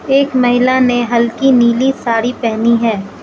एक महिला ने हल्की नीली साड़ी पहनी है।